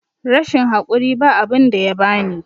rashin hakuri ba abinda yabani